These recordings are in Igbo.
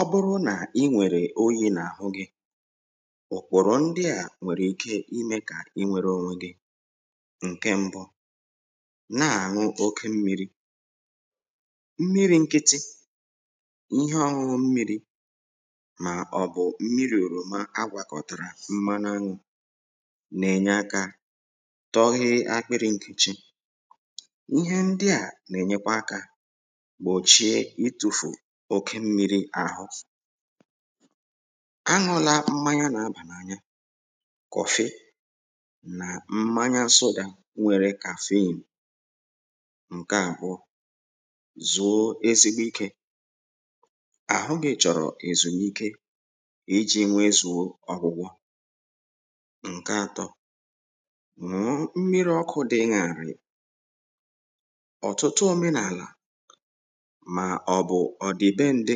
ọ bụrụ na i nwèrè oyi̇ n’àhụ gị òkpòrò ndịà nwèrè ike imė kà i nwėrė ònwe gị ǹke mbọ na-àṅụ oke mmiri̇ mmiri̇ ǹkịtị ihe ọrụ mmiri̇ màọ̀bụ̀ mmiri̇ òròma agwàkọ̀tàrà mmanu a nà-ènye akȧ tọ ihe akpịrị̇ ǹkèchi ihe ndịà nà-ènyekwa akȧ m̀chie itufù oke mmiri àhụ ahụlà mmanya nà abà n’anya kọ̀fị nà mmanya asụdà nwere kàfei m ǹke àbụọ zụ̀o ezigbo ikė àhụ gị chọ̀rọ̀ èzùnike iji̇ nwe zụ̀ọ ọ̀gwụgwọ ǹke atọ m̀miri ọkụ̇ dịnyàrị̀ ọ̀tụtụ òmenàlà mà ọ bụ̀ ọ̀ dị be ndị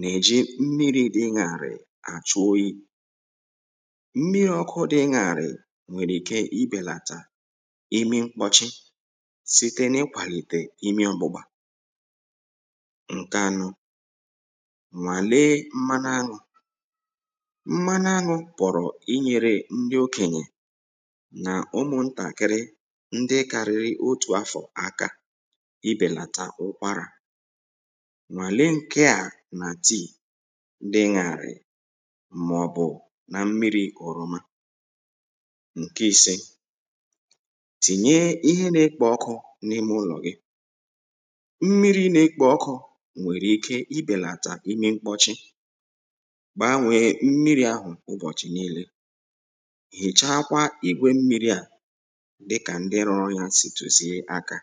nà-èji mmiri̇ dịṅàrị̀ àchụ oyi̇ mmịe ọkụ dị̇ gàrị̀ nwèrè ike ibèlàtà imi mkpọ̀chị site n’ikwàlìtè imi ugbȯgbà ǹke anụ nwà lee mma n’anwụ̇ mma n’anwụ̇ pọ̀rọ̀ inyėrė ndị okènyè nà ụmụ̀ntàkịrị ndị karịrị otù afọ̀ aka ibèlàtà ụkwarà nwàle ǹkeà nà tii ndị nyàrị̀ mà ọ̀ bụ̀ nà mmiri̇ ọ̀rọma ǹke ise tìnye ihe na-ekpo ọkụ̇ n’ime ụlọ̀ gị mmiri̇ na-ekpo ọkụ̇ nwèrè ike ibèlàtà imi mkpọchi gbaa nwèe mmiri̇ ahụ̀ ụbọ̀chị̀ n’èle hìchakwa ègwe mmiri̇ à dịkà ndị rụrụ yȧ sìtùsìe aka